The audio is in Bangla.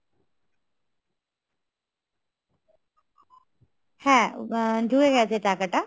হ্যা, ঢুকে গেছে টাকাটা